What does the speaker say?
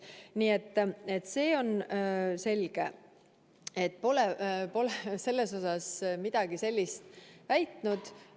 Nii et see on selge, et ma pole selles osas midagi sellist väitnud.